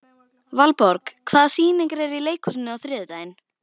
Valborg, hvaða sýningar eru í leikhúsinu á þriðjudaginn?